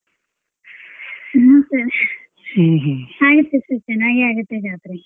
No sir ಆಗತ್ತೆ sir ಚೆನ್ನಾಗ್ ಆಗುತ್ತೆ ಜಾತ್ರೆ.